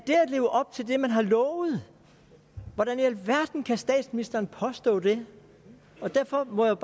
leve op til det man har lovet hvordan i alverden kan statsministeren påstå det derfor må jeg